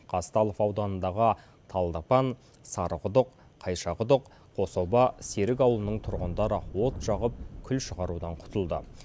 казталов ауданындағы талдыпан сарықұдық қайшақұдық қособа серік ауылының тұрғындары от жағып күл шығарудан құтылды